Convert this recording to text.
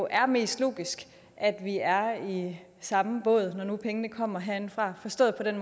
er mest logisk at vi er i samme båd når nu pengene kommer herindefra forstået på den